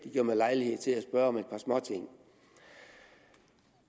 det giver mig lejlighed til at spørge om et par småting